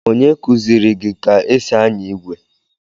Onye kụziiri gị ka e si anya igwe?